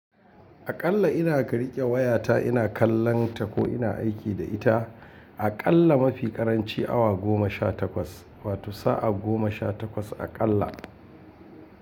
Aƙalla ina ga riƙe wayata ina kallonta ko ina aiki da ita aƙalla mafi ƙaranci awa goma sha takwas, wato sa'a goma sha takwas aƙalla.